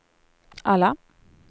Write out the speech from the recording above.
alla